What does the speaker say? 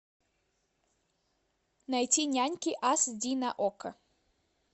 найти няньки ас ди на окко